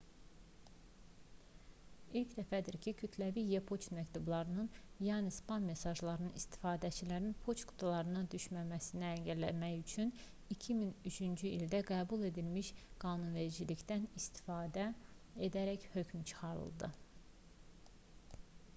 i̇lk dəfədir ki kütləvi e-poçt məktublarının yəni spam mesajlarının istifadəçilərin poçt qutularına düşməsini əngəlləmək üçün 2003-cü ildə qəbul edilmiş qanunvericilikdən istifadə edərək hökm çıxarıldı